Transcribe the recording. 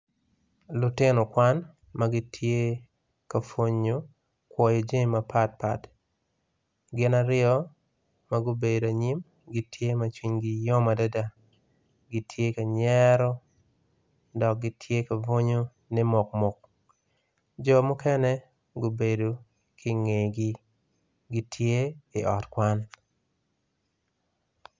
Lutino kwan magitye ma pwonyo kwoyo jami mapat pat gin aryo magubedo anyim gitye ma cwinggi yom adada gitye kanyero dok gitye ka bunyu ni mukmuke jo mukene gubedo kinge gi gitye i ot kwan.